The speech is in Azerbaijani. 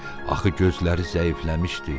Axı gözləri zəifləmişdi.